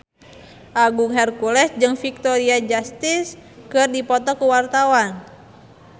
Agung Hercules jeung Victoria Justice keur dipoto ku wartawan